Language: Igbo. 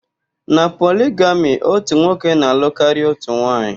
Na poligami, ótù nwoke na-alụ karịa ótù nwaanyị.